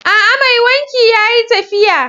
A'a! Mai wanki yayi tafiya.